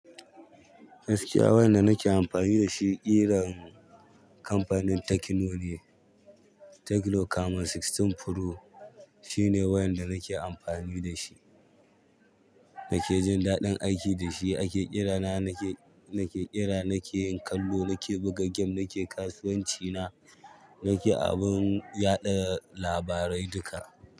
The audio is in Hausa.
Gaskiya wayan da nake amfani da shi ƙiran kamfanin Tekno ne. Tekno Camon Sixteen Pro shine wayan da nake amfani da shi. Nake jin daɗin aiki da shi, ake ƙira na nake, nake ƙira, nake yin kallo, nake buga gem, nake kasuwanci na, nake abun yaɗa labarai duka.